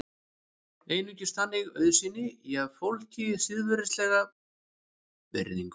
Einungis þannig auðsýni ég fólki siðferðilega virðingu.